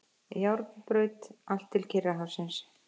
Járnbraut allt til Kyrrahafsins.